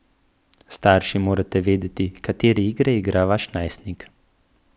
Starši morate vedeti, katere igre igra vaš najstnik.